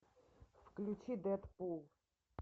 включи дэдпул